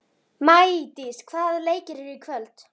Maídís, hvaða leikir eru í kvöld?